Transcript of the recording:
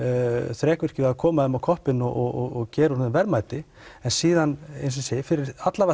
þrekvirki við að koma þeim á koppinn og gera úr þeim verðmæti en síðan fyrir